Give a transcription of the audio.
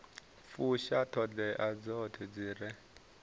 fusha ṱhoḓea dzoṱhe dzi re